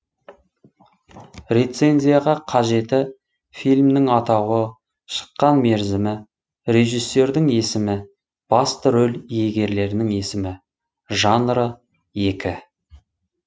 рецензияға қажеті фильмнің атауы шыққан мерзімі режиссердің есімі басты рөл иегерлерінің есімі жанры екі